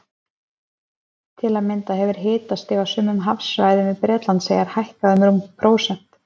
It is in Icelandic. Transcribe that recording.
Til að mynda hefur hitastig á sumum hafsvæðum við Bretlandseyjar hækkað um rúmt prósent.